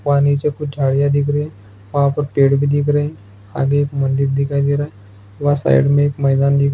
वहाँ नीचे कुछ झाड़ियाँ दिख रही वहाँ पर पेड़ भी दिख रही आगे एक मंदिर दिखाई दे रहा है वहाँ साइड में एक मैदान दिखाई --